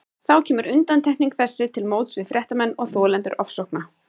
Þá kemur undantekning þessi til móts við fréttamenn og þolendur ofsókna.